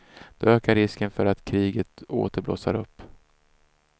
Då ökar risken för att kriget åter blossar upp.